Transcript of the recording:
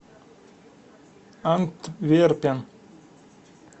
антверпен